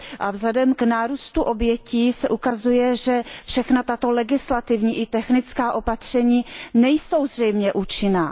A vzhledem k nárůstu obětí se ukazuje, že všechna tato legislativní i technická opatření nejsou zřejmě účinná.